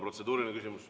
Protseduuriline küsimus.